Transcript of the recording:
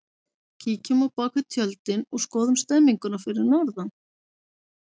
Kíkjum á bakvið tjöldin og skoðum stemmninguna fyrir norðan!